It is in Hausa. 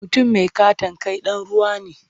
Mutum mai ƙaton kai ɗan ruwa ne.